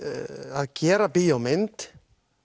að gera bíómynd